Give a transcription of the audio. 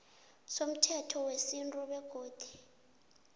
somthetho wesintu begodu